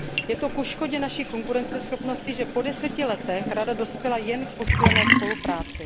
Je to ke škodě naší konkurenceschopnosti, že po deseti letech Rada dospěla jen k posílené spolupráci.